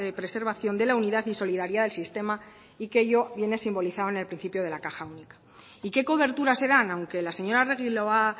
preservación de la unidad y solidaridad del sistema y que ello viene simbolizado en el principio de la caja única y qué coberturas se dan aunque la señora arregui lo ha